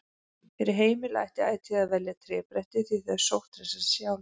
Fyrir heimili ætti ætíð að velja trébretti því þau sótthreinsa sig sjálf.